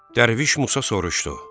Dərviş Musa soruşdu.